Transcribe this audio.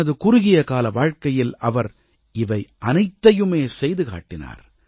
தனது குறுகியகால வாழ்க்கையில் அவர் இவையனைத்தையுமே செய்து காட்டினார்